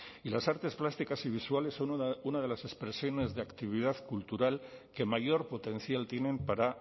y las artes plásticas y visuales son una de las expresiones de actividad cultural que mayor potencial tienen para